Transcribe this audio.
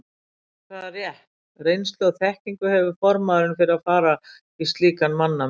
Hvaða rétt, reynslu og þekkingu hefur formaðurinn fyrir að fara í slíkan mannamun?